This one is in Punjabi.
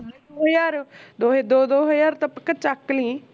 ਦੋ ਹਜ਼ਾਰ ਦੋਹੇ ਦੋ ਦੋ ਹਜ਼ਾਰ ਤਾਂ ਪੱਕਾ ਚੱਕ ਲਈ